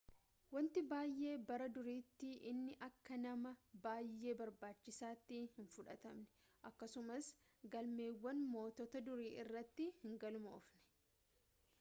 wanti baay'ee bara duriitti inni akka nama i baayee barbaachisaatti hin fudhatamne akkasumas galmeewwan moototaa durii irratti hin galmoofne